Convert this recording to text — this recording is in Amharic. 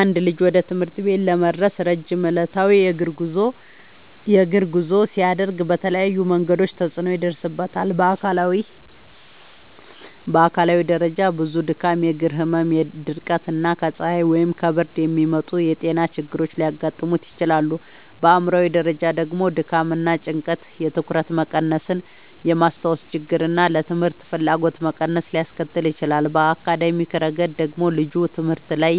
አንድ ልጅ ወደ ትምህርት ቤት ለመድረስ ረጅም ዕለታዊ የእግር ጉዞ ሲያደርግ በተለያዩ መንገዶች ተጽዕኖ ይደርስበታል። በአካላዊ ደረጃ ብዙ ድካም፣ የእግር ህመም፣ ድርቀት እና ከፀሐይ ወይም ከብርድ የሚመጡ ጤና ችግሮች ሊያጋጥሙት ይችላሉ። በአእምሯዊ ደረጃ ደግሞ ድካም እና ጭንቀት የትኩረት መቀነስን፣ የማስታወስ ችግርን እና ለትምህርት ፍላጎት መቀነስን ሊያስከትል ይችላል። በአካዳሚያዊ ረገድ ደግሞ ልጁ ትምህርት ላይ